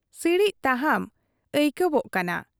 ᱥᱤᱲᱤᱡ ᱛᱟᱦᱟᱢ ᱟᱹᱭᱠᱟᱹᱣᱚᱜ ᱠᱟᱱᱟ ᱾